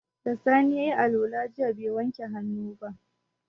Da sani yayi alwala jiya bai wanke hannu ba